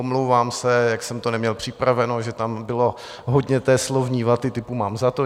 Omlouvám se, jak jsem to neměl připraveno, že tam bylo hodně té slovní vaty typu "mám za to".